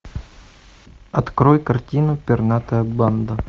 открой картину пернатая банда